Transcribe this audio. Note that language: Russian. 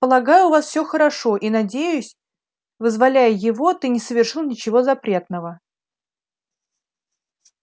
полагаю у вас всё хорошо и надеюсь вызволяя его ты не совершил ничего запретного